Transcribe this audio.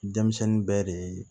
Denmisɛnnin bɛɛ de ye